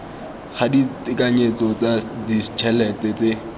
ga ditekanyetso tsa ditšhelete tse